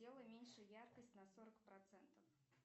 сделай меньше яркость на сорок процентов